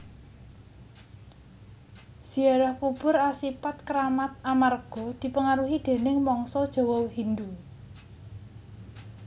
Ziarah kubur asipat kramat amarga dipengaruhi déning mangsa Jawa Hindhu